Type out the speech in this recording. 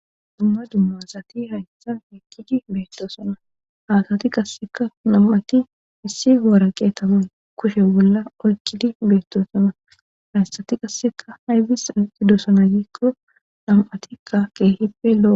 Dumma dummasati hayssan eyqqidi beettosana haatati qasseka nam'ati issi goara qeetapan kushe bolla oykkidi beettosana hayssati qasseka haybis oaidosana gikko dam7atikka keehippe lo'o.